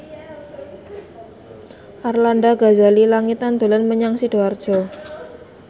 Arlanda Ghazali Langitan dolan menyang Sidoarjo